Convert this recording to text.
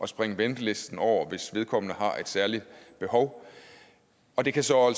springe ventelisten over hvis vedkommende har et særligt behov og det kan så